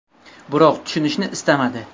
Biroq tushunishni istamadi.